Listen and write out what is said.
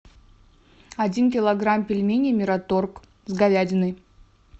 один килограмм пельменей мираторг с говядиной